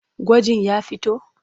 Gwajin ya fito?